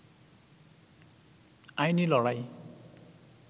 আইনী লড়াই